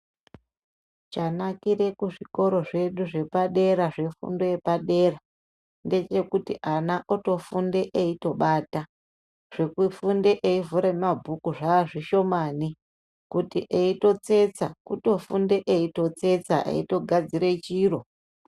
Chanakire kuzvikora zvedu zvepadera zvefundo yepadera ngechekuti ana atofunde eyito bata, zvekufunda eyifunde eyivhure mabhuku zvazvishomani, kuti eyitotsetsa kutofunde eyitotsetsa iyitogadzire chiro.